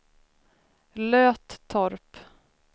Löttorp